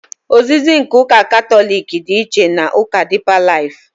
Ozizi nke ụka Katọlik dị iche na ụka dịpa laifụ.